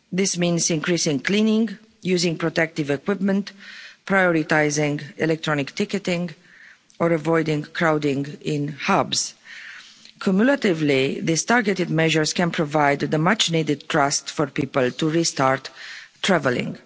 This means increasing cleaning, using protective equipment, prioritising electronic ticketing or avoiding crowding in hubs. Cumulatively, these targeted measures can provide the much needed trust for people to restart travelling.